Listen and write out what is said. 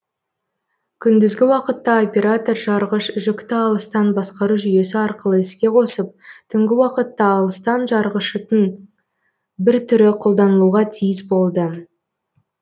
күндізгі уақытта оператор жарғыш жүкті алыстан басқару жүйесі арқылы іске қосып түнгі уақытта алыстан жарғышытың бір түрі қолданылуға тиіс болды